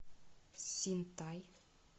синтай